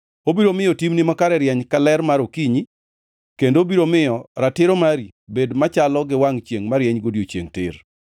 Obiro miyo timni makare rieny ka ler mar okinyi, kendo obiro miyo ratiro mari bed machalo gi wangʼ chiengʼ marieny odiechiengʼ tir.